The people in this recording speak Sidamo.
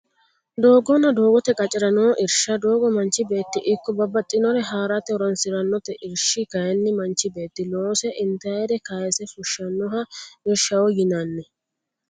Doogonnabdoogotte qacerra noo irisha, doogo manichi beeti ikko babaxinori harate horonsiranotte irishi kayinni manchi beeti loose intayire kaase fushanoha irishaho yinanni